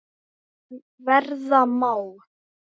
sem verða má.